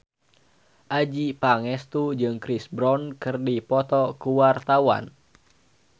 Adjie Pangestu jeung Chris Brown keur dipoto ku wartawan